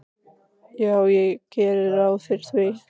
Já, ég geri ráð fyrir því.